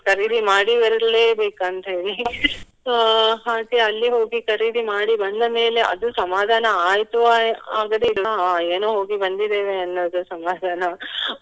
ಖರೀದಿ ಮಾಡಿ ಬರ್ಲೆ ಬೇಕಂತ ಹೇಳಿ. So ಅಹ್ ಹಾಗೆ ಅಲ್ಲಿ ಹೋಗಿ ಖರೀದಿ ಮಾಡಿ ಬಂದ ಮೇಲೆ ಅದು ಸಮಾಧಾನ ಆಯ್ತು ಆಯ್~ ಆಗದೇನ ಏನೋ ಹೋಗಿ ಬಂದಿದ್ದೇವೆ ಅನ್ನುದೇ ಸಮಾಧಾನ.